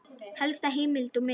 Helsta heimild og mynd